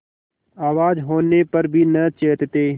आवाज होने पर भी न चेतते